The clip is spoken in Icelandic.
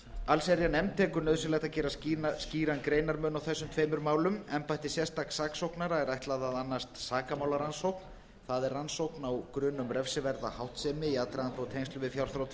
allsherjarnefnd telur nauðsynlegt að gera skýran greinarmun á þessum tveimur málum embætti sérstaks saksóknara er ætlað að annast sakamálarannsókn það er rannsókn á grun um refsiverða háttsemi í aðdraganda og tengslum við fjárþrot